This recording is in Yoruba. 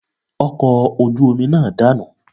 Ọkọ̀ ojú omi náà danu